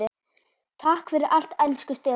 Takk fyrir allt elsku Stefán.